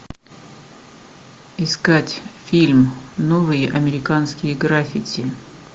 искать фильм новые американские граффити